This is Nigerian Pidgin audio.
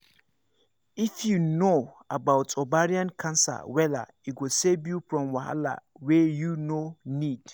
if you know about ovarian cancer wella e go save you from wahala wey you no need